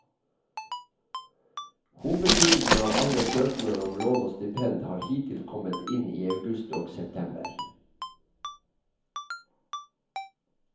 Hovedtyngden av alle søknader om lån og stipend har hittil kommet inn i august og september.